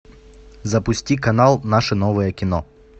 запусти канал наше новое кино